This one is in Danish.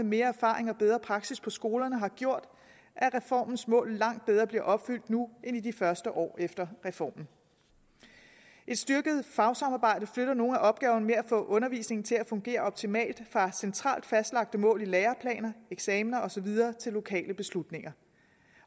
mere erfaring og bedre praksis for skolerne har gjort at reformens mål langt bedre bliver opfyldt nu end i de første år efter reformen et styrket fagsamarbejde flytter nogle af opgaverne med at få undervisningen til at fungere optimalt fra centralt fastlagte mål i læreplaner eksamener og så videre til lokale beslutninger